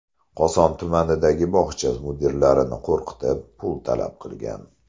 Koson tumanidagi bog‘cha mudiralarini qo‘rqitib, pul talab qilgan.